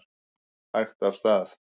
Hægt af stað